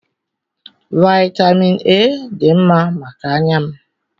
Vaịtamịn A dị mma maka anya m.